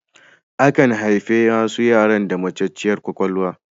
Akan haifi wasu yara da matacciyar kwakwalwa.